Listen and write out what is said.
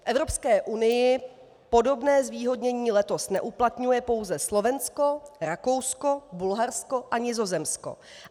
V Evropské unii podobné zvýhodnění letos neuplatňuje pouze Slovensko, Rakousko, Bulharsko a Nizozemsko.